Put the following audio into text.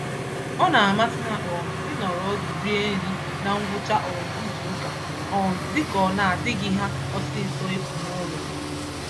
Ọna amasị ha um ịnọrọ ọdụ rie nri na ngwụcha um izuka, um dịka ọ nadịghị ha ọsịsọ ịpụ n'ụlọ